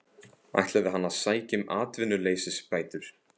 Ætlaði hann að sækja um atvinnuleysisbætur?